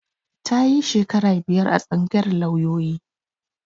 Ta yi shekara biyar a tsangayar lauyoyi